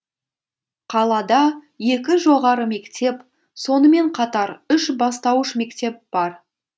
қалада екі жоғары мектеп сонымен қатар үш бастауыш мектеп бар